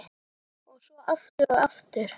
Og svo aftur, og aftur.